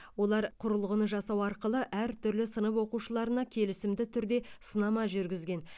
олар құрылғыны жасау арқылы әртүрлі сынып оқушыларына келісімді түрде сынама жүргізген